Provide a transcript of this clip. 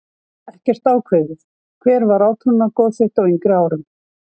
Ekkert ákveðið Hver var átrúnaðargoð þitt á yngri árum?